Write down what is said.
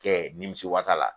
Kɛ nimisi wasa la